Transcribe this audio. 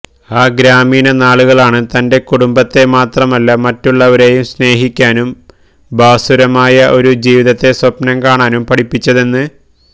ആ ഗ്രാമീണ നാളുകളാണ് തന്റെ കുടുംബത്തെ മാത്രമല്ല മറ്റുള്ളവരേയും സ്നേഹിക്കാനും ഭാസുരമായ ഒരു ജീവിതത്തെ സ്വപ്നം കാണാനും പഠിപ്പിച്ചതെന്ന്